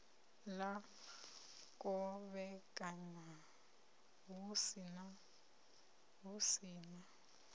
ḽa kovhekanywa hu si na